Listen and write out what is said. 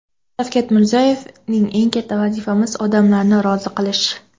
Shavkat Mirziyoyev: eng katta vazifamiz – odamlarni rozi qilish.